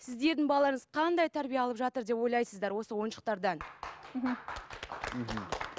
сіздердің балаларыңыз қандай тәрбие алып жатыр деп ойлайсыздар осы ойыншықтардан мхм